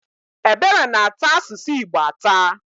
Ebere na-ata asụsụ Igbo atà.